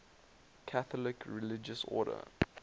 catholic religious order